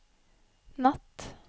natt